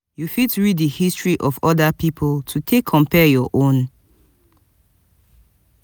you fit read di history of oda pipo to take compare your own